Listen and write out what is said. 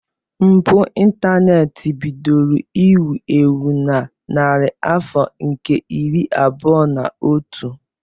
Mpụ ịntaneti bidoro iwu ewu na narị afọ nke iri abụọ na otu.